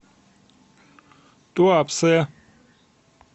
туапсе